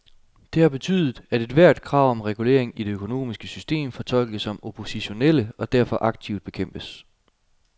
Det har betydet, at ethvert krav om reguleringer i det økonomiske system fortolkes som oppositionelle og derfor aktivt bekæmpes.